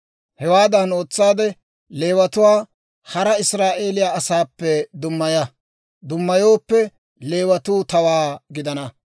Hewaadan ootsaade Leewatuwaa hara Israa'eeliyaa asaappe dummaya; dummayooppe Leewatuu tawaa gidana.